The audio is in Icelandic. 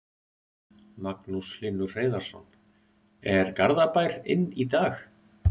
Magnús Hlynur Hreiðarsson: Er Garðabær inn í dag?